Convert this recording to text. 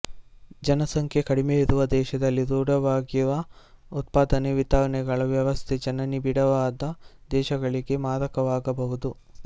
ಜನಸಂಖ್ಯೆ ಕಡಿಮೆಯಿರುವ ದೇಶದಲ್ಲಿ ರೂಢವಾಗಿರುವ ಉತ್ಪಾದನೆ ವಿತರಣೆಗಳ ವ್ಯವಸ್ಥೆ ಜನನಿಬಿಡವಾದ ದೇಶಗಳಿಗೆ ಮಾರಕವಾಗಬಹುದು